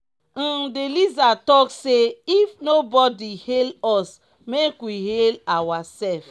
um the lizard talk say if nobodi hail us make we hail awa sef.